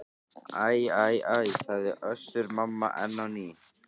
Æ æ æ, sagði Össur-Mamma enn á ný.